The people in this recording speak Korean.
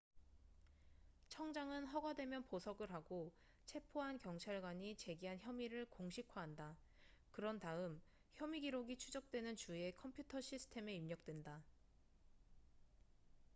청장은 허가되면 보석을 하고 체포한 경찰관이 제기한 혐의를 공식화한다 그런 다음 혐의 기록이 추적되는 주의 컴퓨터 시스템에 입력된다